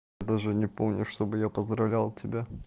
даже не помню чтобы я поздравлял тебя